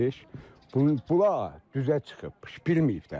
Bular düzə çıxıb, bilməyib də mina olduğunu.